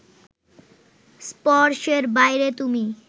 স্পর্শের বাইরে তুমি